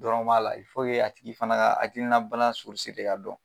Dɔrɔn b'a la. a tigi fana ka hakilina bana de ka dɔn.